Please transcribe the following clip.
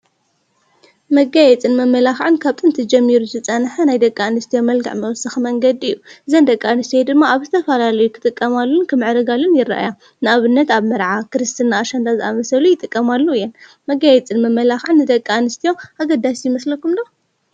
መጋየፅን መመላኽዕን ካብጥንቲ ጀሚሩ ዝፀንሐ ናይ ደቂ ኣንስትዩ መልክዕ መወሳኺ መንገዲ እዩ፡፡ አዘን ደቂ ኣንስቲዮ ድማ ኣብ ዝተፈላለዩ ክጥቀማሉን ክምዕረጋሉን ይረአያ፡፡ ንብነት ኣብ መርዓ፣ ክርስትና ፣ኣሽንዳ ዝኣመሰሉ ይጥቀማሉ እየን፡፡ መጋየፅን መመላኽዕን ንደቂ ኣንስትዮ ኣገዳሲ ይመስለኩም ዶ?